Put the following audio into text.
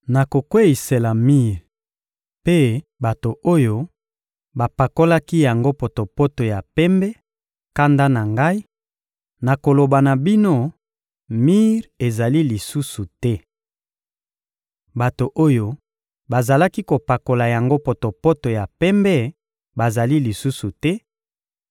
Nakokweyisela mir mpe bato oyo bapakolaki yango potopoto ya pembe kanda na Ngai; nakoloba na bino: ‘Mir ezali lisusu te! Bato oyo bazalaki kopakola yango potopoto ya pembe bazali lisusu te;